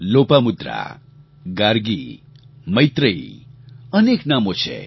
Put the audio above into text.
લોપામુદ્રા ગાર્ગી મૈત્રેયી અનેક નામો છે